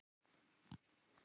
Það er sárt.